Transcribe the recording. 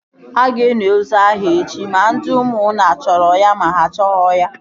A ga-eli ozu ahụ echi ma ndị ụmụnna a chọrọ ya ma ha achọghị ya!